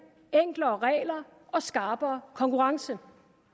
enklere regler og skarpere konkurrence